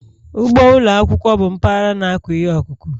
Ugbo ụlọ akwụkwọ bụ mpaghara na-akụ ihe ọkụkụ